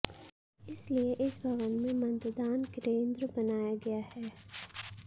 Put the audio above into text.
इसलिए इस भवन में मतदान केंद्र बनाया गया है